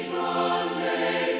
að nei